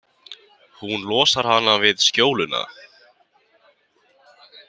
Hún losar hana við skjóluna.